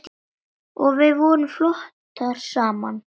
Og við vorum flottar saman.